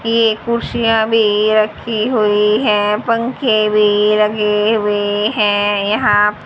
ये कुर्सियां भी रखी हुई हैं पंखे भी लगे हुए हैं यहां--